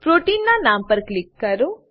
પ્રોટીનના નામ પર ક્લિક કરો